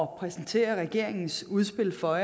præsentere regeringens udspil for